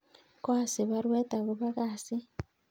Koasich baruet agobo kasit